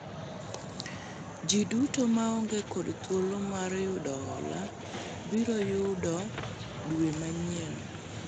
jii duto maonge kod thuolo mar yudo hola biro yudo dwe manyien